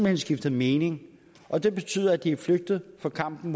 hen skiftet mening og det betyder at de er flygtet fra kampen